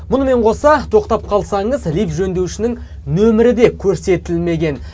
мұнымен қоса тоқтап қалсаңыз лифт жөндеушінің нөмірі де көрсетілмеген